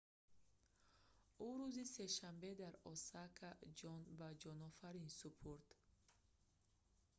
ӯ рӯзи сешанбе дар осака ҷон ба ҷонофарин супурд